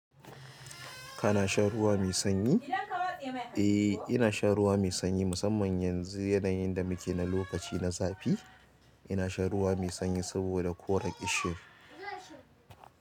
Kana sha ruwa mai sanyi? Eh, ina sha ruwa mai sanyi musamman yanzu yanayin da muke na lokaci na zafi. Ina sha ruwa mai sanyi saboda korar ƙishir.